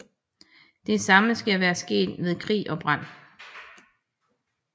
Det samme skal være sket ved krig og brand